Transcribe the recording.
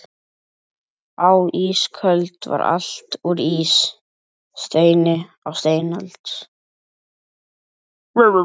Á ísöld var allt úr ís, steini á steinöld.